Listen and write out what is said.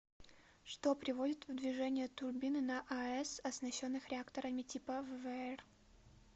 что приводит в движение турбины на аэс оснащенных реакторами типа ввэр